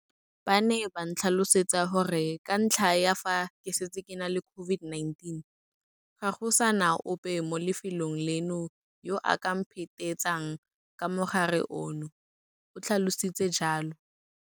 Ba ne ba ntlhalosetsa gore ka ntlha ya fa ke setse ke na le COVID-19, ga go sa na ope mo lefelong leno yo a ka mphetetsang ka mogare ono, o tlhalositse jalo.